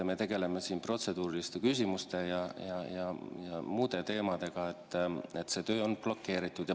Me tegeleme siin protseduuriliste küsimuste ja muude teemadega, töö on blokeeritud.